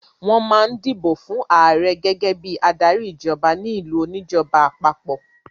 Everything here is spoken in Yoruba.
Wọ́n máa ń dìbò fún ààrẹ gẹ́gẹ́ bí adarí ìjọba ní ìlú oníjọba àpapọ̀.